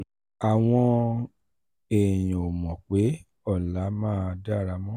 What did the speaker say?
àwọn èèyàn ò mọ̀ pé ọ̀la máa dára mọ́.